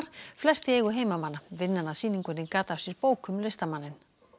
flest í eigu heimamanna vinnan að sýningunni gat af sér bók um listamanninn